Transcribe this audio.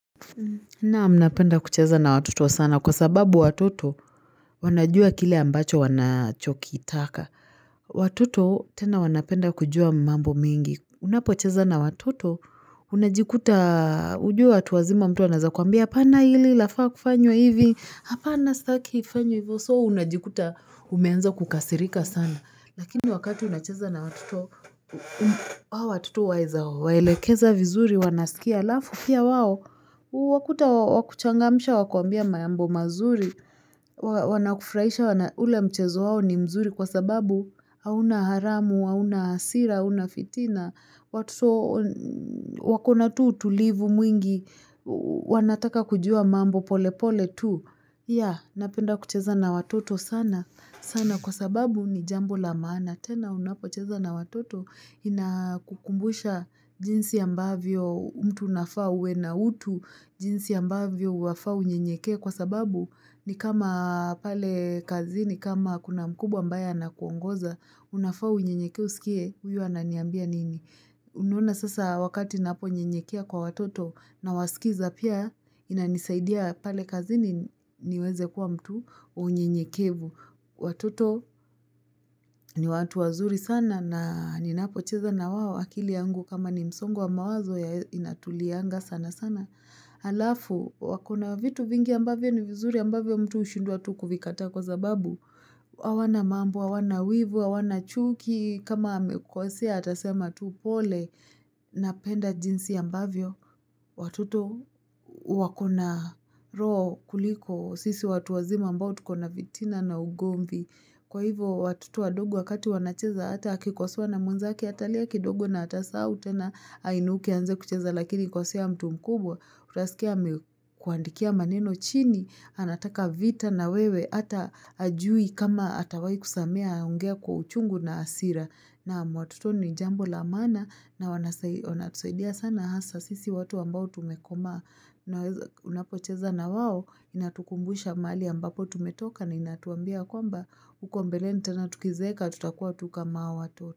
Naam napenda kucheza na watoto sana kwa sababu watoto wanajua kile ambacho wanachokitaka. Watuto tena wanapenda kujua mambo mingi. Unapocheza na watoto, unajikuta, ujue watu wazima mtu anaweza kuambia hapana hili lafaa kufanywa hivi, hapana sitaki ifanywe hivo, so unajikuta umeanza kukasirika sana. Lakini wakati unacheza na hao watoto waweza, waelekeza vizuri, wanasikia alafu, pia wao, huwakuta wa kuchangamsha, wakuambie mambo mazuri, wanakufurahisha ule mchezo wao ni mzuri kwa sababu, hauna haramu, hauna hasira, hauna fitina, wakona tu utulivu mwingi, wanataka kujua mambo pole pole tu. Ya, napenda kucheza na watoto sana, sana kwa sababu ni jambo la maana. Tena unapocheza na watoto inakukumbusha jinsi ambavyo mtu unafaa uwe na utu, jinsi ambavyo unafaa unyenyekee kwa sababu ni kama pale kazini, kama kuna mkubwa ambaye anakuongoza, unafaa unyenyekee usikie, huyu ananiambia nini. Unaona sasa wakati ninaponyenyekea kwa watoto nawasikiza pia inanisaidia pale kazini niweze kuwa mtu wa unyenyekevu. Watoto ni watu wazuri sana na ninapocheza na wao akili yangu kama ni msongo wa mawazo inatulia sana sana. Alafu, wako na vitu vingi ambavyo ni vizuri ambavyo mtu hushindwa tu kuvikataa kwa sababu. Hawana mambo, hawana wivu, hawana chuki, kama amekukosea atasema tu pole napenda jinsi ambavyo, watoto wako na roho kuliko, sisi watu wazima ambao tukona fitina na ugomvi. Kwa hivyo watoto wadogo wakati wanacheza hata akikosewa na mwenzake atalia kidogo na atasahau tena ainuke aanze kucheza lakini kosea mtu mkubwa. Utasikia amekuandikia maneno chini anataka vita na wewe hata hajui kama atawahi kusamehe anaongea kwa uchungu na hasira. Naam watoto ni jambo la maana na wanasaidia sana hasa sisi watu ambao tumekomaa na unapocheza na wao inatukumbusha mahali ambapo tumetoka na inatuambia kwamba huko mbeleni tena tukizeeka tutakuwa tu kama hao tu.